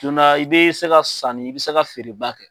Don na i bɛ se ka sanni i bɛ se ka feereba kɛ.